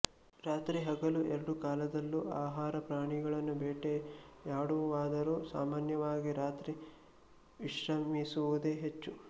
ರಾತ್ರಿ ಹಗಲು ಎರಡು ಕಾಲದಲ್ಲೂ ಆಹಾರ ಪ್ರಾಣಿಗಳನ್ನು ಬೇಟೆಯಾಡುವುವಾದರೂ ಸಾಮಾನ್ಯವಾಗಿ ರಾತ್ರಿ ವಿಶ್ರಮಿಸುವುದೇ ಹೆಚ್ಚು